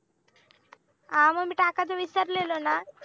हा मग मी टाकायचं विचारलेलं ना